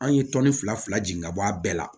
An ye tɔni fila fila jeni ka bɔ a bɛɛ la